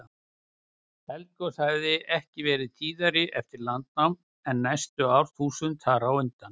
Eldgos hafa ekki verið tíðari eftir landnám en næstu árþúsund þar á undan.